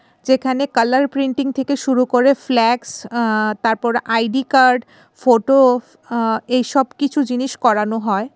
যেখানে colour printing থেকে শুরু করে ফ্ল্যাক্স আ-তারপর আই_ডি কার্ড ফটো আ-এইসব কিছু জিনিস করানো হয়.